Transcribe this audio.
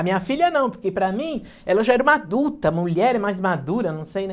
A minha filha não, porque para mim, ela já era uma adulta, mulher mais madura, não sei, né?